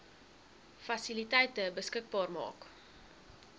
fasiliteite beskikbaar maak